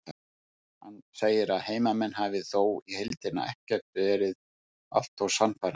Hann segir að heimamenn hafi þó í heildina ekkert verið allt of sannfærandi.